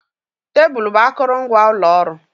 Tebụl bụ akụrụngwa ụlọ ọrụ